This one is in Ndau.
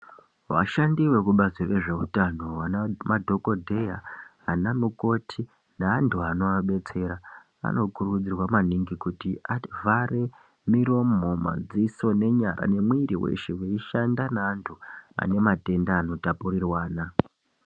Vashandi vekubazi rezvehutano madhokodheya ana mukoti nevantu vanovadetsera anokurudzirwa maningi kuti avhare miromo madziso nemwiri weshe achishanda nevanhu vane matenda anotapurirwana.